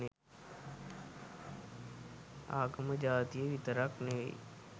ආගම ජාතිය විතරක් නෙවෙයි